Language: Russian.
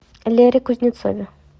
лере кузнецове